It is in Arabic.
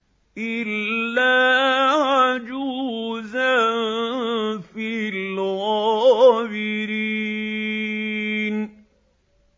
إِلَّا عَجُوزًا فِي الْغَابِرِينَ